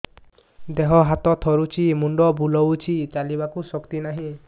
ଦେହ ହାତ ଥରୁଛି ମୁଣ୍ଡ ବୁଲଉଛି ଚାଲିବାକୁ ଶକ୍ତି ନାହିଁ